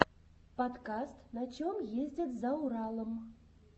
подкаст на чем ездят за уралом